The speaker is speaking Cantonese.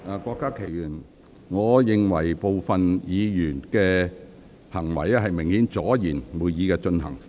郭家麒議員，我認為部分議員的行為明顯是為了阻延會議進行。